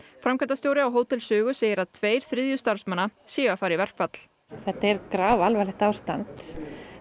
framkvæmdastjóri á Hótel Sögu segir að tveir þriðju starfsmanna séu að fara í verkfall þetta er grafalvarlegt ástand